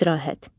İstirahət.